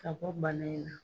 Ka bɔ bana in na.